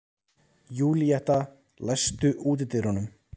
Júlíetta, læstu útidyrunum.